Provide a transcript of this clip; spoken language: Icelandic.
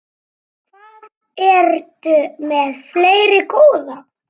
Hvað ertu með fleira, góða?